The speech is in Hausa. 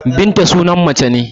Binta sunan mace